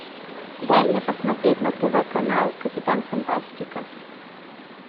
дай мне посмотреть на тв канал капитан фантастика